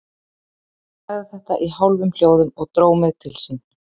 Hann sagði þetta í hálfum hljóðum og dró mig til sín.